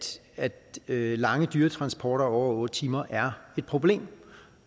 at lange dyretransporter over otte timer er et problem